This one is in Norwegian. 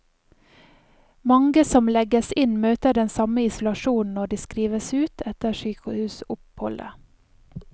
Mange som legges inn møter den samme isolasjonen når de skrives ut etter sykehusoppholdet.